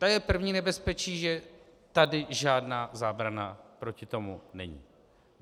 To je první nebezpečí, že tady žádná zábrana proti tomu není.